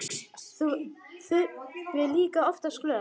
Þura er líka oftast glöð.